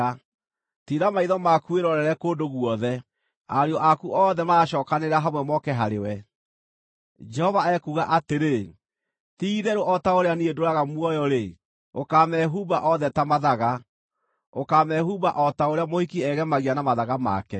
Tiira maitho maku wĩrorere kũndũ guothe; ariũ aku othe maracookanĩrĩra hamwe moke harĩwe.” Jehova ekuuga atĩrĩ, “Ti-itherũ o ta ũrĩa niĩ ndũũraga muoyo-rĩ, ũkaamehumba othe ta mathaga; ũkaamehumba o ta ũrĩa mũhiki egemagia na mathaga make.